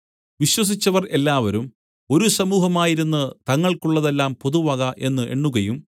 വിശ്വസിച്ചവർ എല്ലാവരും ഒരു സമൂഹമായിരുന്ന് തങ്ങൾക്കുള്ളതെല്ലാം പൊതുവക എന്ന് എണ്ണുകയും